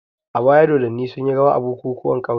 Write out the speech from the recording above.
A baya dodanni sunyi rawa a bukukuwan ƙauye.